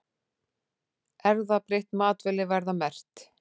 Erfðabreytt matvæli verða merkt